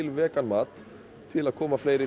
vegan mat til að koma fleiri